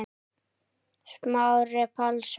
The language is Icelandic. Smári Pálsson